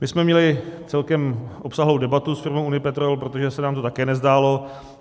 My jsme měli celkem obsáhlou debatu s firmou Unipetrol, protože se nám to také nezdálo.